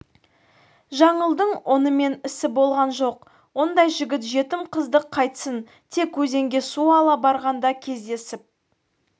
жаңылдың онымен ісі болған жоқ ондай жігіт жетім қызды қайтсін тек өзенге су ала барғанда кездесіп